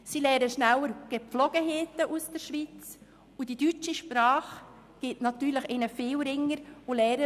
Sie lernen schneller schweizerische Gepflogenheiten, und das Erlernen der deutschen Sprache ist für sie einfacher.